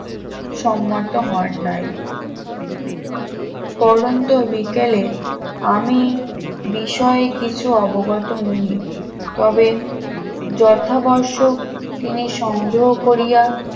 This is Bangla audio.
সম্মত হন নাই পড়ন্ত বিকেলে আমি বিষয় কিছু অবগত নহি তবে যথাবশ্যক তিনি সংগ্রহ করিয়া